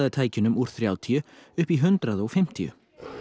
tækjunum úr þrjátíu upp í hundrað og fimmtíu